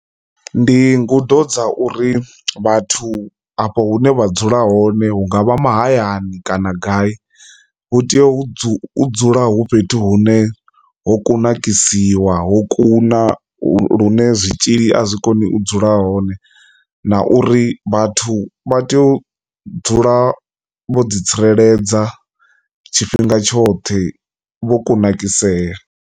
Ndi ngudo dza uri vhathu afho hune vha dzula hone hu ngavha mahayani kana gai hu tea hu, u dzula hu fhethu hune ho kunakisiwa ho kuna lune zwitzhili a zwi koni u dzula hone na uri vhathu vha tea u dzula vho ḓi tsireledza tshifhinga tshoṱhe vho kunakisea.